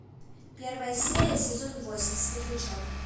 первая серия сезон восемь светлячок